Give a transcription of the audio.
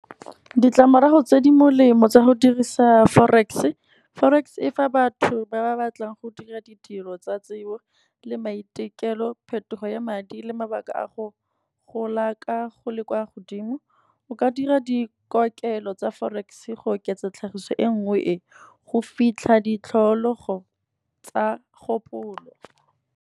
Ditlamorago tse di molemo tsa go dirisa forex, forex e fa batho ba ba batlang go dira ditiro tsa tsebo le maitekelo, phetogo ya madi le mabaka a go le kwa godimo. O ka dira dikokelo tsa forex-e go oketsa tlhagiso e nngwe e, go fitlha ditlhologo tsa kgopolo.